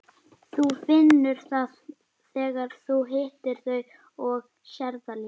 Þú finnur það þegar þú hittir þau og sérð það líka.